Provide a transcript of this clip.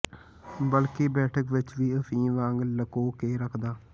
ਬਲਕਿ ਬੈਠਕ ਵਿਚ ਵੀ ਅਫੀਮ ਵਾਂਗ ਲਕੋ ਕੇ ਰੱਖਦਾਂ